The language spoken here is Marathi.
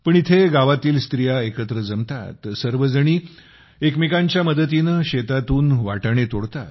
पण इथे गावातील स्त्रिया एकत्र जमतात सर्वजणी एकमेकांच्या मदतीने शेतातून वाटाणे तोडतात